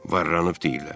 Varranır deyirlər.